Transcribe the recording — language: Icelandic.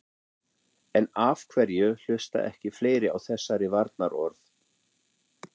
En af hverju hlusta ekki fleiri á þessari varnarorð?